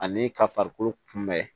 Ani ka farikolo kunbɛn